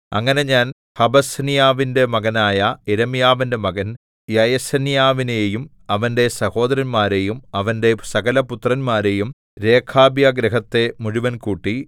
അങ്ങനെ ഞാൻ ഹബസിന്യാവിന്റെ മകനായ യിരെമ്യാവിന്റെ മകൻ യയസന്യാവിനെയും അവന്റെ സഹോദരന്മാരെയും അവന്റെ സകലപുത്രന്മാരെയും രേഖാബ്യഗൃഹത്തെ മുഴുവൻ കൂട്ടി